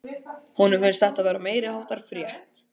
Honum finnst þetta vera meiriháttar frétt!